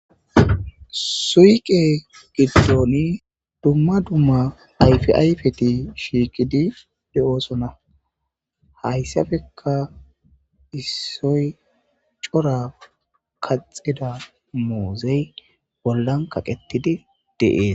suyqe giddooni dumma dumma ayfiayfeti shiiqidi de7oosona hayssafeka issoy cora kaxida muuzey bollan kaqetidi deees